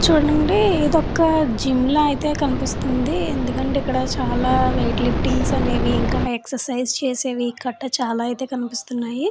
చూడండి ఏదో ఒక జిమ్లా అయితే కనిపిస్తుంది. ఎందుకంటే ఇక్కడ చాలా వెయిట్ లిఫ్టింగ్స్ అనేది ఇంకా ఎక్ససైజ్ చేసెవి కట్ట చాలా అయితే కనిపిస్తున్నాయి.